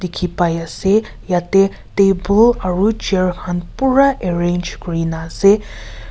dikhi pai ase yate table aro chair khan pura arrange kurina ase.